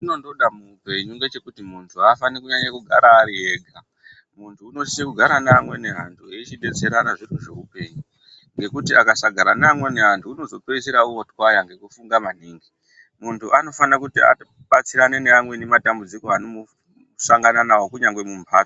Chatinondoda muupenyu ngechekuti muntu aafani kunyanya kugara ari ega, muntu unosisa kugara neamweni antu eichidetserana zviro zveupenyu nekuti akasagara neamweni antu unozopeisira otwaya ngekufunga maningi muntu anofana kuti abatsirane neamweni matambudziko anomusangana nawo kunyangwe mumbatso.